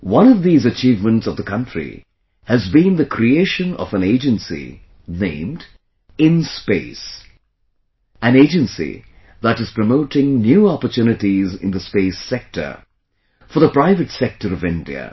One of these achievements of the country has been the creation of an agency named InSpace... an agency that is promoting new opportunities in the space sector for the private sector of India